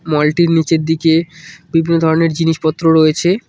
মলটির নীচের দিকে বিভিন্ন ধরনের জিনিসপত্র রয়েছে।